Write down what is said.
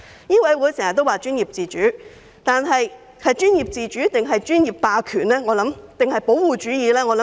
醫委會經常談及專業自主，究竟是專業自主，還是專業霸權或保護主意？